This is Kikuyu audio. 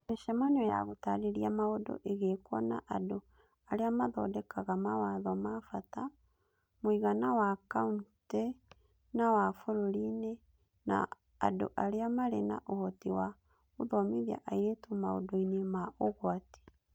Mĩcemanio ya gũtaarĩria maũndũ ĩgĩkwo na andũ arĩa mathondekaga mawatho ma bata (mũigana wa kaunti na wa bũrũri-inĩ) na andũ arĩa marĩ na ũhoti wa gũthomithia airĩtu maũndũ-inĩ ma ũgwati.